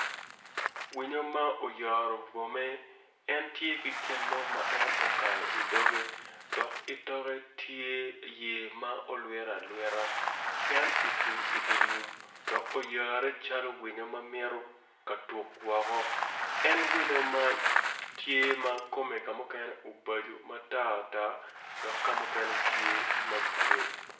Winyo ma oyaro bwome en tye ki gin mo ma en okayo idogge dok itokke tye yet ma olwito alwita en ocung idi lum dok oyare calo winyo ma mito ka tuk woko en winyo man tye ma kume ka mukene ubaco ma tar tar dok ka mukene tye ma gure